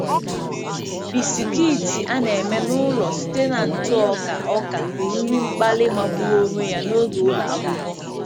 Bisikiiti a na-eme n'ụlọ site na ntụ ọka ọka bụ nri mkpali magburu onwe ya n’oge ụlọ akwụkwọ.